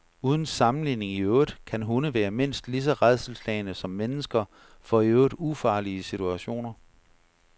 Uden sammenligning i øvrigt kan hunde være mindst lige så rædselsslagne som mennesker for i øvrigt ufarlige situationer.